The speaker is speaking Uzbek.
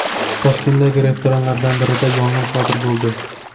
Toshkentdagi restoranlardan birida yong‘in sodir bo‘ldi.